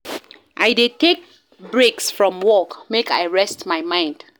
I dey take breaks from work, make I rest my mind.